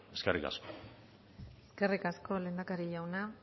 eskerrik asko eskerrik asko lehendakari jauna